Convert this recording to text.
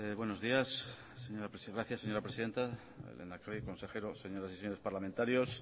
buenos días gracias señora presidenta lehendakari consejeros señoras y señores parlamentarios